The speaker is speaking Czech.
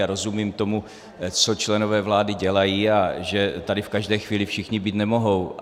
A rozumím tomu, co členové vlády dělají a že tady v každé chvíli všichni být nemohou.